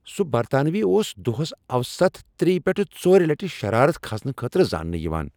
سُہ برطانوی اوس دۄہس اوسط ترٛیِہ پیٹھہٕ ژورِ لٹِہ شرارت کھسنہٕ خٲطرٕ زاننہٕ یِوان ۔